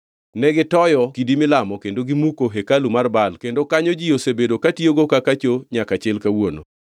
Negitoyo kidi milamo kendo gimuko hekalu mar Baal kendo kanyo ji osebedo katiyogo kaka choo nyaka chil kawuono.